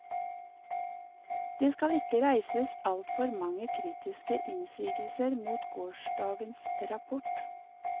Det skal ikke reises altfor mange kritiske innsigelser mot gårsdagens rapport.